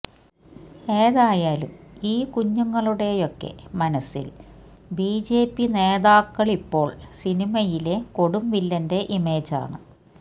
ഏതായാലും ഈ കുഞ്ഞുങ്ങളുടെയൊക്കെ മനസില് ബിജെപി നേതാക്കള്ക്കിപ്പോള് സിനിമയിലെ കൊടുംവില്ലന്റെ ഇമേജാണ്